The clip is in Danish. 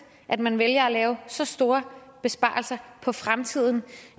at man vælger at lave så store besparelser på fremtiden